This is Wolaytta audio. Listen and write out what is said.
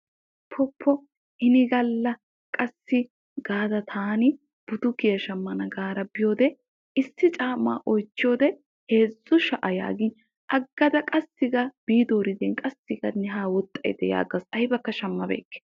Pu pu inni gala taani butukiya shamanna gaada biyoode issi caama oychchiyoode heezzu sha'aa gin booridde agadda guye yaagaas.